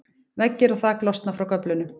veggir og þak losna frá göflunum